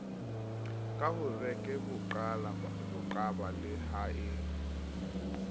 ka horekeboqaba le ha e